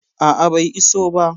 A a, bai iso ba.